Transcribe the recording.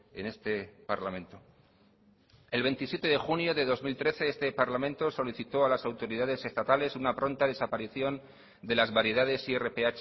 en este parlamento el veintisiete de junio de dos mil trece este parlamento solicitó a las autoridades estatales una pronta desaparición de las variedades irph